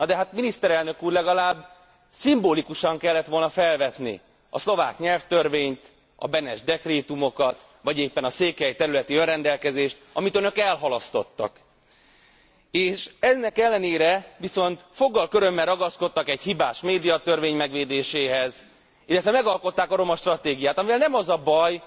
Nadehát miniszterelnök úr, legalább szimbolikusan kellett volna felvetni a szlovák nyelvtörvényt, a Benes dekrétumokat vagy éppen a székely területi önrendelkezést, amit önök elhalasztottak, és ennek ellenére viszont foggal körömmel ragaszkodtak egy hibás médiatörvény megvédéséhez, illetve megalkották a romastratégiát, amivel nem az a baj,